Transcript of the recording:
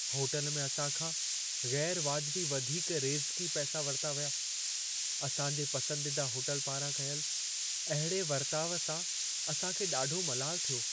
Hotel में असां खां ग़ैरु वाजिबी वधीक रेज़िकी पैसा वरिता विया। असां जे पसंदीदा होटल पारां कयल अहिड़े वर्ताउ सां असां खे ॾाढो मलालु थियो।